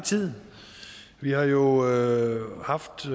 tid vi har jo allerede haft